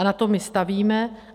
A na tom my stavíme.